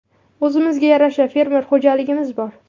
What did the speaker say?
O‘zimizga yarasha fermer xo‘jaligimiz bor.